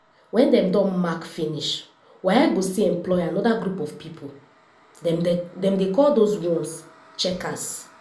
wen dem don mark finish waec go still employ anoda group of pipo - dem dey call dose ones checkers.